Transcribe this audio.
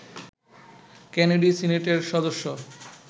Kennedy সিনেটের সদস্য